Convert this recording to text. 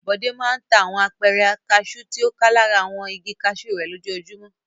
Bọ̀dé máa ń ta àwọn apẹ̀rẹ̀ kaṣú tí ó ká lára àwọn igi kaṣú rẹ̀ lójoojúmọ́.